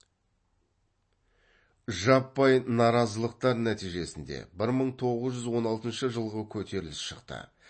жаппай наразылықтар нәтижесінде бір мың тоғыз жүз он алтыншы жылғы көтеріліс шықты